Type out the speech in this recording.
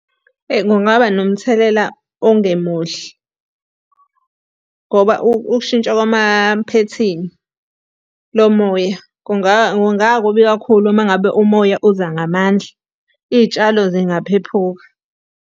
Eyi kungaba nomthelela ongemuhle. Ngoba ukushintsha kwamaphethini lo moya kungakubi kakhulu uma ngabe umoya uza ngamandla. Iy'tshalo zingaphephuka.